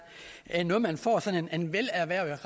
er noget man får sådan en velerhvervet